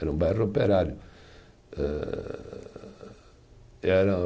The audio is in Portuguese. Era um bairro operário. Âh, era